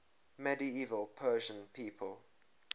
medieval persian people